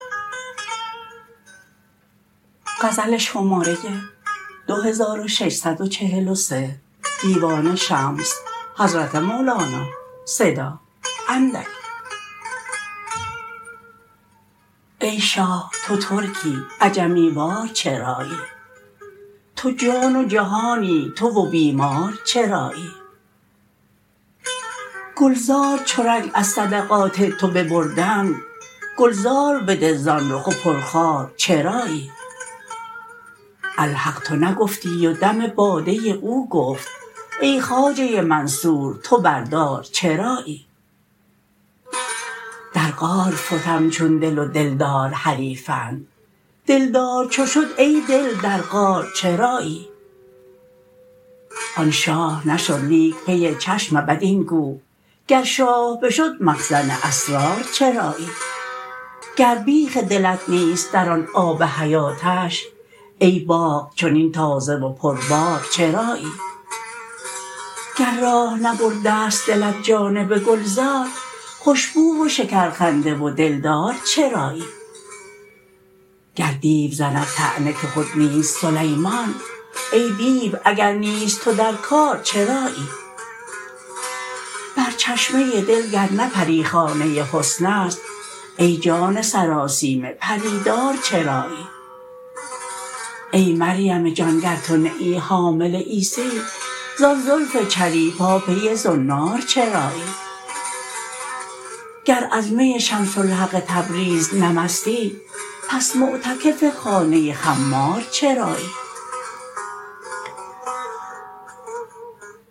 ای شاه تو ترکی عجمی وار چرایی تو جان و جهانی تو و بیمار چرایی گلزار چو رنگ از صدقات تو ببردند گلزار بده زان رخ و پرخار چرایی الحق تو نگفتی و دم باده او گفت ای خواجه منصور تو بر دار چرایی در غار فتم چون دل و دلدار حریفند دلدار چو شد ای دل در غار چرایی آن شاه نشد لیک پی چشم بد این گو گر شاه بشد مخزن اسرار چرایی گر بیخ دلت نیست در آن آب حیاتش ای باغ چنین تازه و پربار چرایی گر راه نبرده ست دلت جانب گلزار خوش بو و شکرخنده و دلدار چرایی گر دیو زند طعنه که خود نیست سلیمان ای دیو اگر نیست تو در کار چرایی بر چشمه دل گر نه پری خانه حسن است ای جان سراسیمه پری دار چرایی ای مریم جان گر تو نه ای حامل عیسی زان زلف چلیپا پی زنار چرایی گر از می شمس الحق تبریز نه مستی پس معتکف خانه خمار چرایی